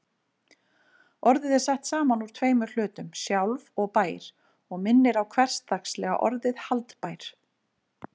Orðið er sett saman úr tveimur hlutum, sjálf- og-bær og minnir á hversdagslega orðið haldbær.